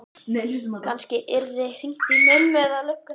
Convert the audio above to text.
Kannski yrði hringt í mömmu, eða lögguna.